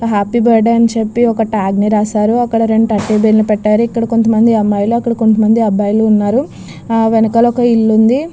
Happy birthday అని చేపి ఒక టాగ్ రాశారు అక్కడ రొండు టెడ్డి బేర్ పెట్టారు. అక్కడ కొంత మంది అమ్మాయలు అక్కడ కొంతమంది అబ్బాయిలు ఉన్నారు వెనకాలే ఇల్లు ఉంది.